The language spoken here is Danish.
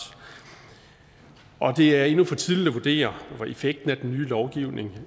det er endnu for tidligt at vurdere effekten af den nye lovgivning